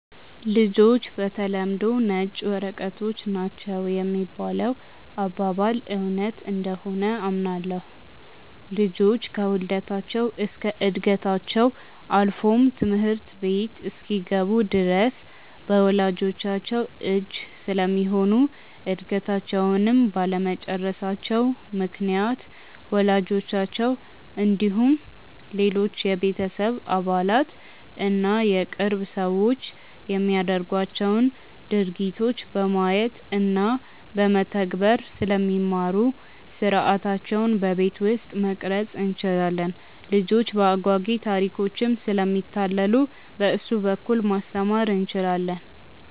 ''ልጆች በተለምዶ ነጭ ወረቀቶች ናቸው ''የሚባለው አባባል እውነት እንደሆነ አምናለሁ። ልጆች ከውልደታቸው እስከ ዕድገታቸው አልፎም ትምህርት ቤት እስኪገቡ ድረስ በወላጅቻቸው እጅ ስለሚሆኑ እድገታቸውንም ባለመጨረሳቸው ምክንያት ወላጆቻቸው እንዲሁም ሌሎች የቤተሰብ አባላት እና የቅርብ ሰዎች የሚያደርጓቸውን ድርጊቶች በማየት እና በመተግበር ስለሚማሩ ሥርዓታቸውን በቤት ውስጥ መቅረፅ እንችላለን። ልጆች በአጓጊ ታሪኮችም ስለሚታለሉ በእሱ በኩል ማስተማር እንችላለን።